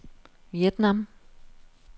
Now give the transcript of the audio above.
Vietnam